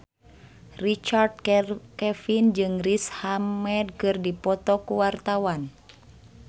Richard Kevin jeung Riz Ahmed keur dipoto ku wartawan